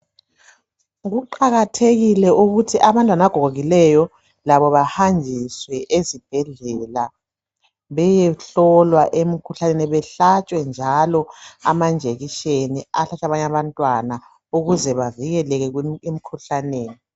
Kuqakathekile ukuthi abantwana abagogekileyo labo bahanjiswe ezibhedlela beyehlolwa emkhuhlaneni bahlatshwe njalo amajekiseni ahlatshwa abanye abantwana ukuze bavikeleke emikhuhlaneni.